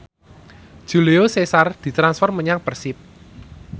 Julio Cesar ditransfer menyang Persib